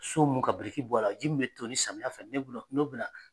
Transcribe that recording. So mun ka biriki bɔ a la , ji min bɛ tonni samiyɛ fɛ